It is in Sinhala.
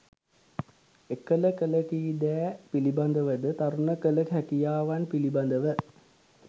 එකළ කළ කී දෑ පිළිබඳවද, තරුණ කළ හැකියාවන් පිළිබඳව